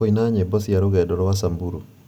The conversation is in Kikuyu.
kũina nyĩmbo cia rũgendo rwa samburu